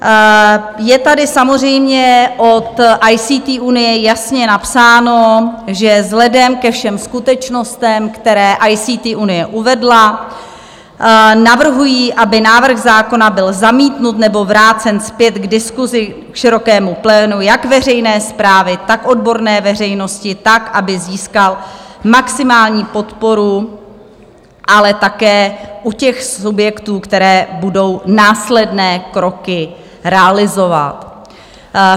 Je tady samozřejmě od ICT Unie jasně napsáno, že vzhledem ke všem skutečnostem, které ICT Unie uvedla, navrhují, aby návrh zákona byl zamítnut nebo vrácen zpět k diskusi, k širokému plénu jak veřejné správy, tak odborné veřejnosti tak, aby získal maximální podporu, ale také u těch subjektů, které budou následné kroky realizovat.